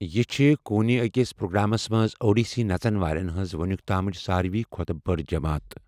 یہِ چھِ کونہِ أکِس پروگرامس منٛز اوڈیسی نَژُن والٮ۪ن ہنٛز وُنیُک تامُچ ساروی کھوتہ بٔڑ جماعت۔